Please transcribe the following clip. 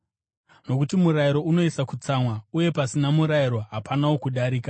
nokuti murayiro unouyisa kutsamwa. Uye pasina murayiro hapanawo kudarika.